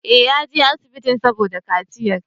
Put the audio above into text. Eh, yaje asibitin saboda kaciyar